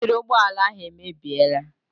Batiri ụgbọala ahụ emebiela.